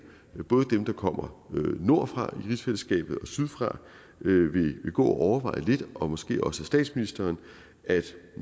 både dem der kommer nordfra i rigsfællesskabet og sydfra vil gå og overveje lidt og måske også statsministeren altså